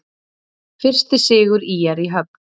Fyrsti sigur ÍR í höfn